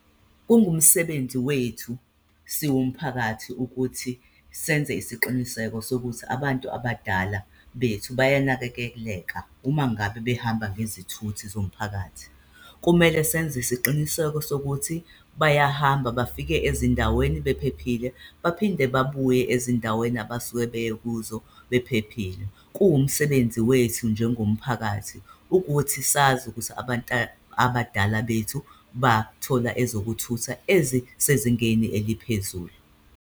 Kungumsebenzi wethu siwumphakathi ukuthi senze isiqiniseko sokuthi abantu abadala bethu bayanakekeleka umangabe behamba ngezithuthi zomphakathi. Kumele senze isiqiniseko sokuthi bayahamba bafike ezindaweni bephephile, baphinde babuye ezindaweni abasuke beye kuzo bephephile. Kuwumsebenzi wethu njengomphakathi ukuthi sazi ukuthi abantu abadala bethu bathola ezokuthutha ezisezingeni eliphezulu.